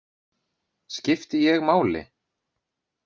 Skipti ég máli?